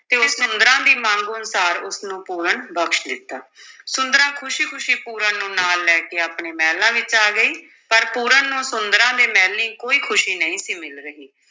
ਤੇ ਸੁੰਦਰਾਂ ਦੀ ਮੰਗ ਅਨੁਸਾਰ ਉਸਨੂੰ ਪੂਰਨ ਬਖ਼ਸ਼ ਦਿੱਤਾ ਸੁੰਦਰਾਂ ਖ਼ੁਸੀ-ਖੁਸ਼ੀ ਪੂਰਨ ਨੂੰ ਨਾਲ ਲੈ ਕੇ ਆਪਣੇ ਮਹਿਲਾਂ ਵਿੱਚ ਆ ਗਈ, ਪਰ ਪੂਰਨ ਨੂੰ ਸੁੰਦਰਾਂ ਦੇ ਮਹਿਲੀਂ ਕੋਈ ਖੁਸ਼ੀ ਨਹੀਂ ਸੀ ਮਿਲ ਰਹੀ।